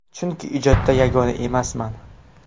Chunki ijodda yagona emasman.